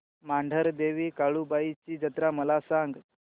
मांढरदेवी काळुबाई ची जत्रा मला सांग